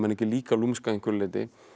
líka lúmsk að einhverju leyti